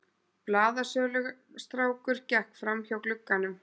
Blaðsölustrákur gekk framhjá glugganum.